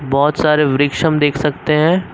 बहोत सारे वृक्ष हम देख सकते हैं।